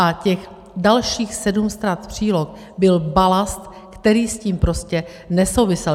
A těch dalších sedm stran příloh byl balast, který s tím prostě nesouvisel.